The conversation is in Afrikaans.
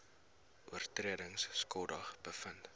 oortredings skuldig bevind